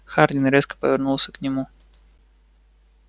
хардин резко повернулся к нему